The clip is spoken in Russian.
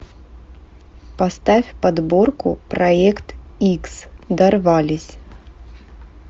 поставь подборку проект икс дорвались